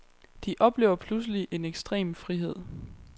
De oplever pludselig en ekstrem frihed.